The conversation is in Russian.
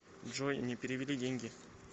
джой не перевели деньги